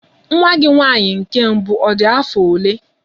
Nwa gị nwaanyị nke mbụ ọ dị afọ ole?